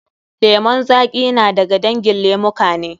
Lemun zaƙi da ga dangin lemuka ne.